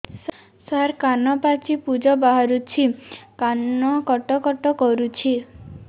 ସାର କାନ ପାଚି ପୂଜ ବାହାରୁଛି କାନ କଟ କଟ କରୁଛି